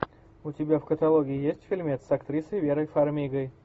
у тебя в каталоге есть фильмец с актрисой верой фармигой